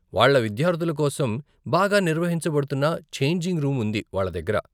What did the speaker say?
వాళ్ళ విద్యార్థుల కోసం బాగా నిర్వహించబడుతున్న ఛేంజింగ్ రూమ్ ఉంది వాళ్ళ దగ్గర.